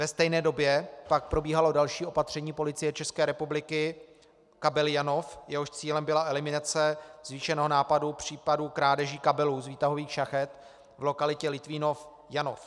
Ve stejné době pak probíhalo další opatření Policie České republiky, "Kabely Janov", jehož cílem byla eliminace zvýšeného nápadu případů krádeží kabelů z výtahových šachet v lokalitě Litvínov - Janov.